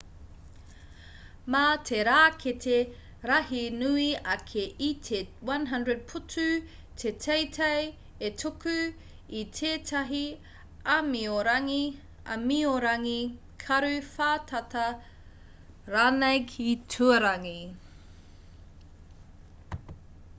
mā te rākete rahi nui ake i te 100 putu te teitei e tuku i tētahi āmiorangi karu whātata ranei ki tuarangi